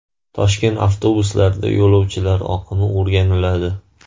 Toshkent avtobuslarida yo‘lovchilar oqimi o‘rganiladi.